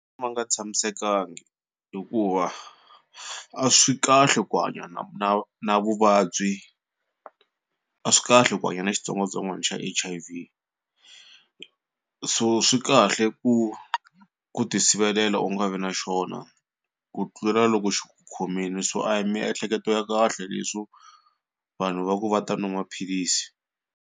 Ma nga tshamisekangi hikuva a swi kahle ku hanya na na na vuvabyi a swi kahle ku hanya na xitsongwatsongwana xa H_I_V so swi kahle ku ku tisivelela u nga vi na xona ku tlula loko xi ku khomile so a hi miehleketo ya kahle leswo vanhu va ku va ta nwa maphilisi.